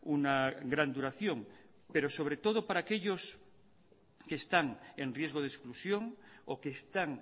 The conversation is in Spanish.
una gran duración pero sobre todo para aquellos que están en riesgo de exclusión o que están